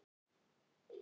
Hann brosir breiðu brosi.